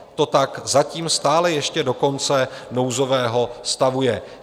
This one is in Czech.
To tak zatím stále ještě do konce nouzového stavu je.